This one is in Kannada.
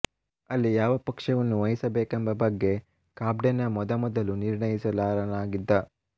ಅಲ್ಲಿ ಯಾವ ಪಕ್ಷವನ್ನು ವಹಿಸಬೇಕೆಂಬ ಬಗ್ಗೆ ಕಾಬ್ಡೆನ ಮೊದಮೊದಲು ನಿರ್ಣಯಿಸಲಾರನಾಗಿದ್ದ